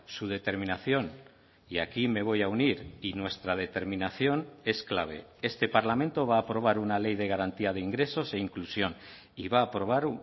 su determinación y aquí me voy a unir y nuestra determinación es clave este parlamento va a aprobar una ley de garantía de ingresos e inclusión y va a aprobar